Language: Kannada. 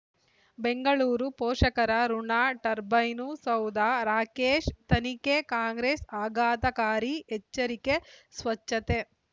ಬೆಂಗಳೂರು ಪೋಷಕರಋಣ ಟರ್ಬೈನು ಸೌಧ ರಾಕೇಶ್ ತನಿಖೆ ಕಾಂಗ್ರೆಸ್ ಆಘಾತಕಾರಿ ಎಚ್ಚರಿಕೆ ಸ್ವಚ್ಛತೆ